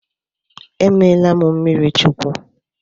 E meela m mmiri Chukwu.